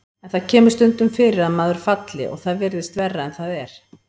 En það kemur stundum fyrir að maður falli og það virðist verra en það er.